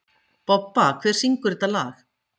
Bobba, hver syngur þetta lag?